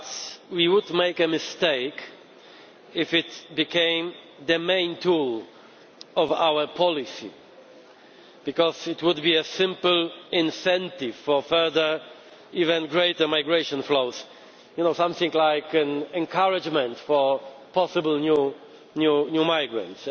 But we would be making a mistake if it became the main tool of our policy, because it would be a simple incentive for further, even greater, migration flows, something like an encouragement for possible new migrants.